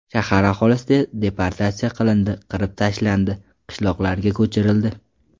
Shahar aholisi deportatsiya qilindi, qirib tashlandi, qishloqlarga ko‘chirildi.